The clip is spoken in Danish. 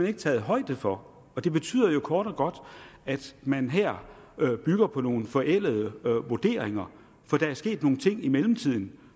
ikke taget højde for det betyder kort og godt at man her bygger på nogle forældede vurderinger for der er sket nogle ting i mellemtiden